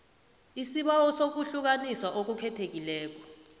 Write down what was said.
isibawo sokuhlukaniswa okukhethekileko